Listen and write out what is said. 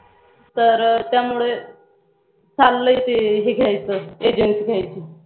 तर त्यामुळे चाल्लय ते हे घ्यायचं Agency घ्यायची.